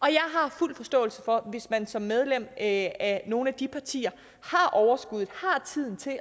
jeg har fuld forståelse for hvis man som medlem af nogle af de partier har overskuddet